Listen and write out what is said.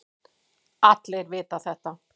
Allir vita þetta.